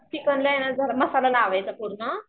चिकनला ये ना जरा मसाला लावायचा पूर्ण